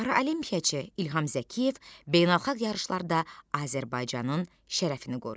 Paralimpiyaçı İlham Zəkiyev beynəlxalq yarışlarda Azərbaycanın şərəfini qoruyur.